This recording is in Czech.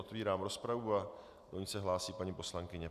Otvírám rozpravu a do ní se hlásí paní poslankyně.